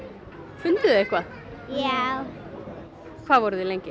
funduð þið eitthvað já hvað voru þið lengi